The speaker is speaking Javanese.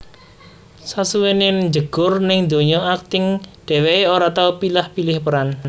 Sasuwené njegur ning donya akting dheweké ora tau pilah pilih peran